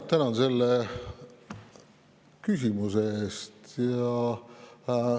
Tänan selle küsimuse eest!